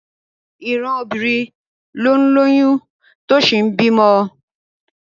Ìran obìnrin ló ń lóyún tó sì ń bímọ